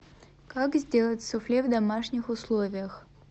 как сделать суфле в домашних условиях